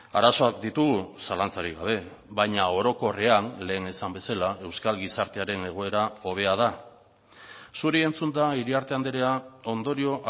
arazoak ditugu zalantzarik gabe baina orokorrean lehen esan bezala euskal gizartearen egoera hobea da zuri entzunda iriarte andrea ondorio